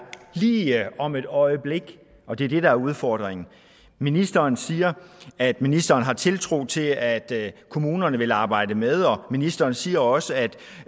lige om et øjeblik og det er det der er udfordringen ministeren siger at ministeren har tiltro til at kommunerne vil arbejde med og ministeren siger også at